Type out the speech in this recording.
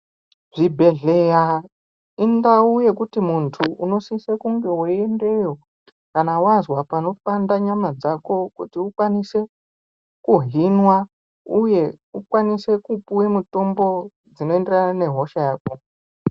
Zvibhedhleya indau yekuti muntu unosise kunge weiendeyo kana wazwa panopanda nyama dzako kuti ukwaniswe kuhinwa uye ukwanise kupuwe mutombo dzinoenderane nehosha yako.